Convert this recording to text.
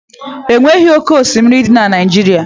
E nweghị oke oshimiri dị na Naijiria.